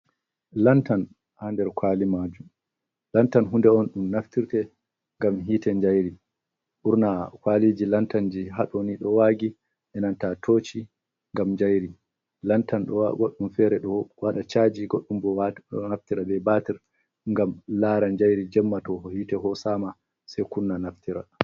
Lantan hander kwalimaju. Lantan hude on dum naftirte ngam hite jayri urna kwaliji lantanji hadoni do wagi inantatoci ngam jairi. Lantan goɗɗum fere dwada chaji goɗɗum bo naftira be batir ngam laran jairi jemmato ho hite ho sama sai kunna naftira.